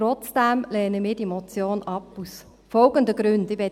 Trotzdem lehnen wir die Motion aus folgenden Gründen ab;